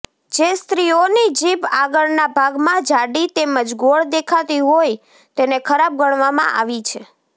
જે સ્ત્રીઓની જીભ આગળના ભાગમાં જાડી તેમજ ગોળ દેખાતી હોય તેને ખરાબ ગણવામાં આવી છે